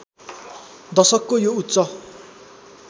दशकको यो उच्च